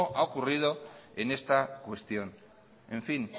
ha ocurrido en esta cuestión en fin